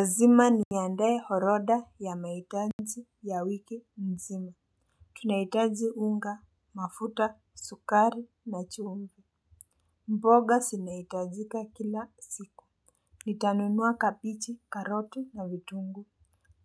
Lazima ni niandae orodha ya maitanji ya wiki mzima. Tunaitaji unga mafuta sukari na chumvo. Mboga zinaitajika kila siku. Nitanunua kapichi karoti na vitunguu